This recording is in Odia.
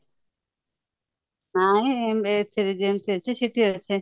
ନାଇଁ ଏଥିରେ ଯେମିତି ଅଛି ସେଠାରେ ସେମିତି